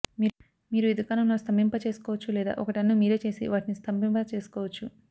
మీరు ఈ దుకాణంలో స్తంభింప చేసుకోవచ్చు లేదా ఒక టన్ను మీరే చేసి వాటిని స్తంభింప చేసుకోవచ్చు